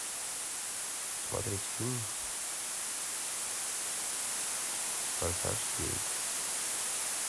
смотреть фильм форсаж девять